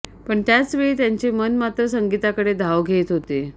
पण त्याचवेळी त्यांचे मन मात्र संगीताकडे धाव घेत होते